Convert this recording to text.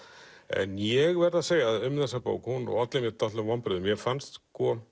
en ég verð að segja um þessa bók að hún olli mér vonbrigðum mér fannst